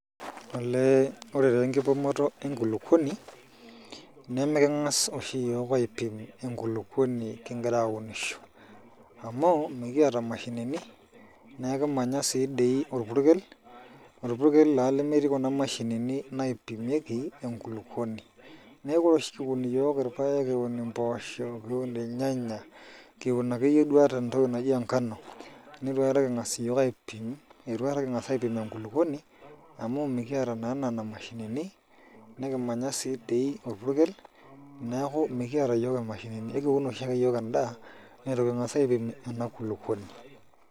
Olee ore taa enkipimata enkulukuoni nemiking'as oshi iyiook aipim enkulukuoni kingira aunisho amu mikiata imashinini naa akimanya sii dei orpurkel, orpurkel taa lemetii kuna mashinini naipimieki enkulukuoni neeku ore oshi iyiook kiun irpaek ashu kiun impoosho kiunirnyanya kiun akeyie duo ata entoki naai engano nitu aikata king'as iyiook aipim itu aikata king'as aipim enkulukuoni amu mikiata naa nena mashinini nikimanya sii dei orpurkel neeku mikiata iyiok imashinini aikiun oshi ake iyiook endaa itu king'as aipim ena kulukuoni.